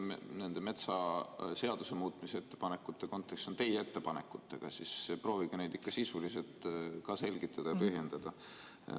Kuna nende metsaseaduse muutmise ettepanekute kontekstis on tegemist teie ettepanekutega, siis proovige neid ikka sisuliselt ka selgitada ja põhjendada.